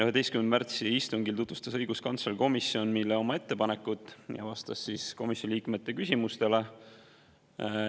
11. märtsi istungil tutvustas õiguskantsler komisjonile oma ettepanekut ja vastas komisjoni liikmete küsimustele.